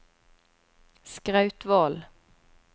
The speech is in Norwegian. Skrautvål